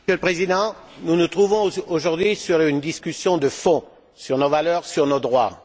Monsieur le Président, nous nous trouvons aujourd'hui sur une discussion de fond, sur nos valeurs, sur nos droits.